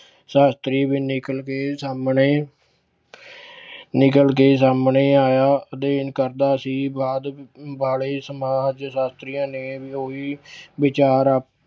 ਸ਼ਾਸ਼ਤਰੀ ਵੀ ਨਿਕਲ ਕੇ ਸਾਹਮਣੇ ਨਿਕਲ ਕੇ ਸਾਹਮਣੇ ਆਇਆ, ਅਧਿਐਨ ਕਰਦਾ ਸੀ ਬਾਅਦ ਵਾਲੇ ਸਮਾਜ ਸ਼ਾਸ਼ਤਰੀਆਂ ਨੇ ਉਹੀ ਵਿਚਾਰ